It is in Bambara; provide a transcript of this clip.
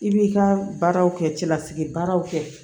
I b'i ka baaraw kɛ cɛlasigi baaraw kɛ